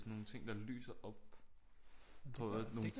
Sådan nogle ting der lyser op på nogle